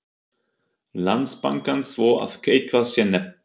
Landsbankans svo að eitthvað sé nefnt.